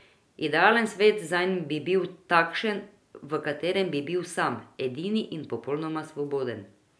Idealen svet zanj bi bil takšen, v katerem bi bil sam, edini in popolnoma svoboden.